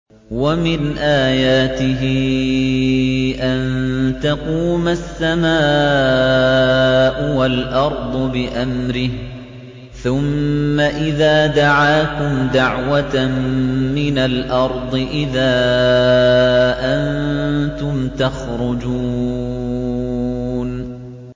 وَمِنْ آيَاتِهِ أَن تَقُومَ السَّمَاءُ وَالْأَرْضُ بِأَمْرِهِ ۚ ثُمَّ إِذَا دَعَاكُمْ دَعْوَةً مِّنَ الْأَرْضِ إِذَا أَنتُمْ تَخْرُجُونَ